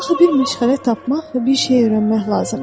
Axı bir məşğələ tapmaq və bir şey öyrənmək lazımdır.